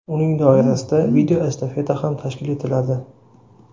Uning doirasida video estafeta ham tashkil etiladi.